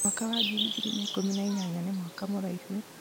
mwaka wa ngiri igĩrĩ na ikũmi na inyanya nĩ mwaka mũraihu